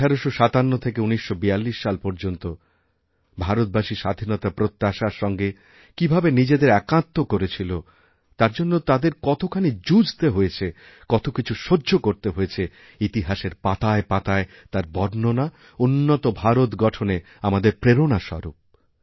১৮৫৭ থেকে ১৯৪২ সাল পর্যন্ত ভারতবাসীস্বাধীনতার প্রত্যাশার সঙ্গে কীভাবে নিজেদের একাত্ম করেছিল তার জন্য তাদের কতখানিযুঝতে হয়েছে কত কিছু সহ্য করতে হয়েছে ইতিহাসের পাতায় পাতায় তার বর্ণনা উন্নতভারত গঠনে আমাদের প্রেরণা স্বরূপ